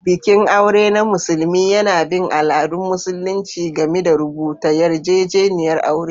Bikin aure na musulmi yana bin al'adun Musulunci, gami da rubuta yarjejeniyar aure.